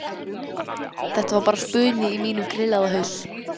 Þetta var bara spuni í mínum grillaða haus.